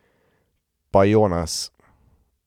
Pa Jonas.